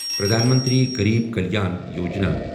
Pradhan Mantri Garib Kalyan Yojana